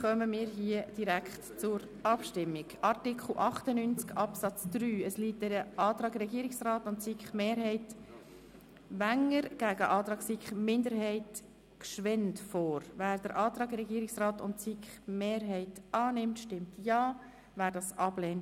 Wer den Antrag Regierungsrat/SiK-Mehrheit annimmt, stimmt Ja, wer dem Antrag der SiK-Minderheit folgt, stimmt Nein.